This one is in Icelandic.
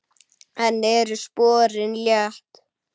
Enn eru sporin létt.